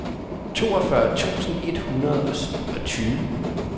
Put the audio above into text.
toogfyrre tusind et hundrede og tyve